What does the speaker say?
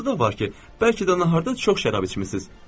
Burası da var ki, bəlkə də naharda çox şərab içmisiz.